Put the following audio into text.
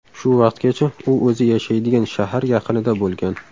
Shu vaqtgacha u o‘zi yashaydigan shahar yaqinida bo‘lgan.